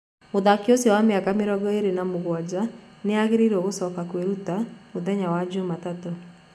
Mũthaki ũcio wa miaka mĩrongo ĩrĩ na mũgwaja nĩaraĩgĩrirwo gũcoka kũĩruta mũthenya wa Jumatatũ.